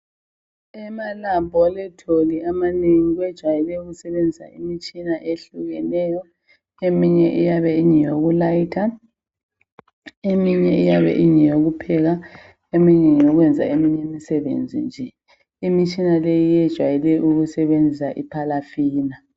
Emalabholitholi manengi bajayela ukusetshenziswa umitshina ehlukeneyo eminye iyabe ingeyokulayitha, eminye iyabe ingeyokupheka, eminye ingeyokwenza imisebenzi nje. Imitshina le yejwayele ukusebenzisa ipalafina.